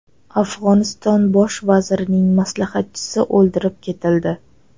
Afg‘oniston bosh vazirining maslahatchisi o‘ldirib ketildi.